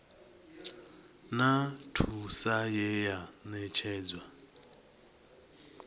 na thuso ye ya ṋetshedzwa